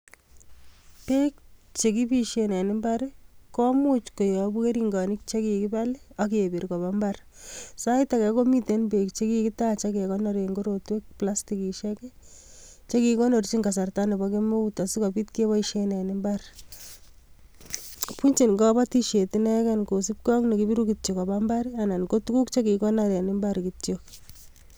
Beek che kipisien en imbar, koimuch keyobu keringonik chekikibal, akebir kobo mbar. Sait age komiten beek chekikitach agekonor en korotwek, plastikishiek, che kikikonoronchin kasarta nebo kemeut asikobit keboisien en imbar. Bunchin kabatisiet inegen kosubkey ak nekipiru kityo koba mbar, anan ko tuguk che kikikonor en imbar kityo